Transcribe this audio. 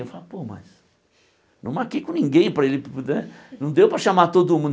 Eu falo, pô, mas... Não marquei com ninguém para ele né... Não deu para chamar todo mundo.